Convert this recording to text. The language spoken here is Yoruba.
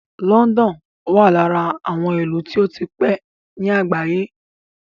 London wà lára àwọn ìlú tó ti pé ní àgbáyé.